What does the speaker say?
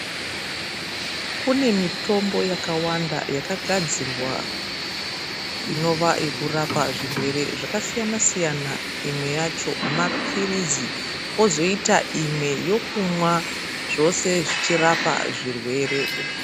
Kune mitombo yakawanda yakagadzirwa inova yekurapa zvirwere zvakasiyana siyana imwe yacho mapirizi kwotoita imwe yacho yokunwa zvose zvichirapa zvirwere.